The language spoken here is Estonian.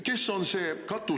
Kes on see katusriik?